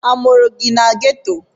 A mụrụ gị na Ghetto?